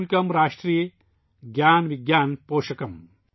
एकता मूलकम् राष्ट्रे, ज्ञान विज्ञान पोषकम् |